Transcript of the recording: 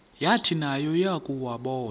yathi nayo yakuwabona